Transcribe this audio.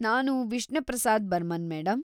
ನಾನು ವಿಷ್ಣು ಪ್ರಸಾದ್‌ ಬರ್ಮನ್‌, ಮೇಡಂ.